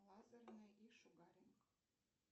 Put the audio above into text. лазерный и шугаринг